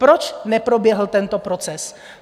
Proč neproběhl tento proces?